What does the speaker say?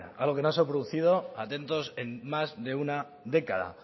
algo que no ha producido atentos en más de una década